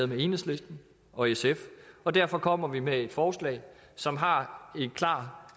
med enhedslisten og sf derfor kommer vi med et forslag som har et klart